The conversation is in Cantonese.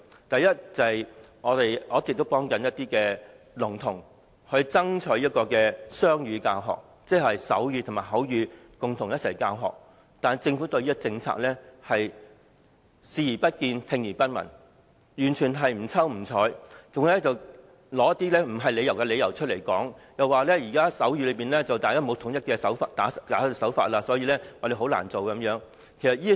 第一，我一直為聾童爭取雙語教學，即是以手語和口語共同教學，但政府對此建議視而不見，聽而不聞，完全不瞅不睬，還提出似是而非的理由，指現時手語沒有統一的手勢，所以很難實行。